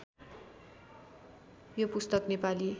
यो पुस्तक नेपाली